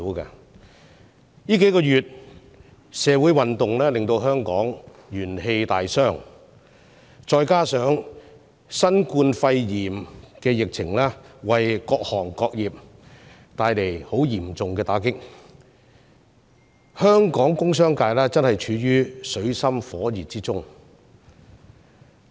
持續數個月的社會運動令香港元氣大傷，再加上新冠肺炎疫情對各行各業帶來嚴重打擊，香港的工商界正處於水深火熱中。